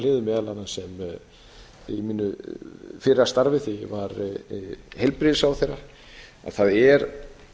hliðum meðal annars í mínu fyrra starfi þegar ég var heilbrigðisráðherra að það er